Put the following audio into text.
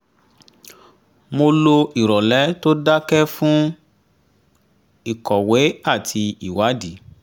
mo lo ìrọ̀lẹ́ tó dakẹ́ fún ìkọ̀wé àti ìwádìí